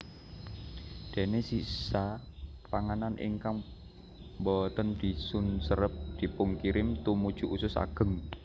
Déné sisa panganan ingkang boten dipunserep dipunkirim tumuju usus ageng